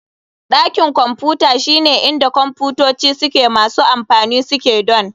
Dakin Kwamfuta shine inda kwamfutoci masu amfani suke donr.